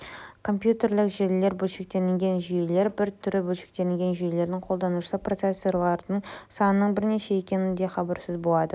компьютерлік желілер бөлшектенген жүйелердің бір түрі бөлшектелген жүйелердің қолданушысы процессордың санының бірнеше екенінен де хабарсыз болады